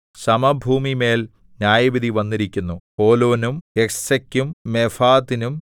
സമഭൂമിമേൽ ന്യായവിധി വന്നിരിക്കുന്നു ഹോലോനും യഹ്സെക്കും മേഫാഥിനും